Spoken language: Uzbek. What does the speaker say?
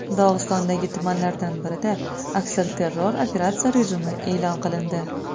Dog‘istondagi tumanlardan birida aksilterror operatsiya rejimi e’lon qilindi.